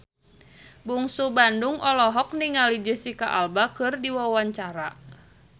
Bungsu Bandung olohok ningali Jesicca Alba keur diwawancara